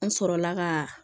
An sɔrɔla ka